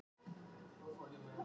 Fékk svín í afmælisgjöf